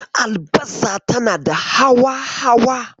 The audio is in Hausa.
Albasa tana da hawa-hawa.